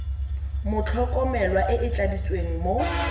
motlhokomelwa e e tladitsweng mo